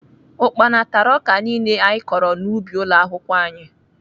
Ukpana tara ọka niile anyị kọrọ n'ubi ụlọakwụkwọ anyị